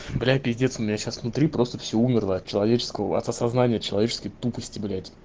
блять пиздец у меня сейчас внутри просто все умерло от человеческого от осознания человеческой тупости блять